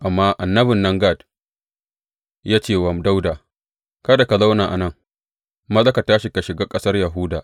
Amma annabin nan Gad ya ce wa Dawuda, Kada ka zauna a nan, maza ka tashi ka shiga ƙasar Yahuda.